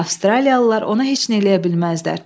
Avstraliyalılar ona heç nə eləyə bilməzlər.